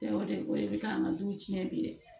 O de bɛ k'an ka du tiɲɛ bi dɛ